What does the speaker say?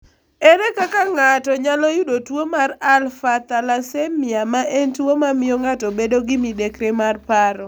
Ere kaka ng'ato nyalo yudo tuo mar alpha thalassemia ma en tuwo mamiyo ng'ato bedo gi midekre mar paro?